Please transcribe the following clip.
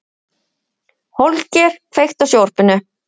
Holger, kveiktu á sjónvarpinu.